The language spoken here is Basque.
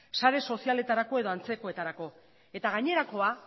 sare sozialetarako edo antzekoetarako eta gainerakoa